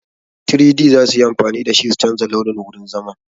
3-D za su yi amfani da shi su canja launin wurin zaman.